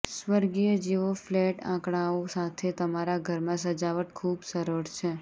સ્વર્ગીય જીવો ફ્લેટ આંકડાઓ સાથે તમારા ઘરમાં સજાવટ ખૂબ સરળ છે